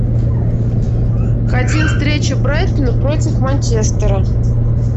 хотим встречу брайтона против манчестера